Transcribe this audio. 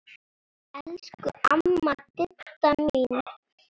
Elsku amma Didda mín.